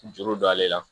Juru don ale la